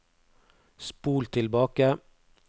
spol tilbake